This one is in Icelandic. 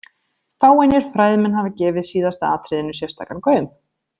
Fáeinir fræðimenn hafa gefið síðasta atriðinu sérstakan gaum.